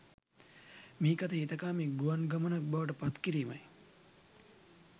මිහිකත හිතකාමී ගුවන් ගමනක් බවට පත් කිරීමයි.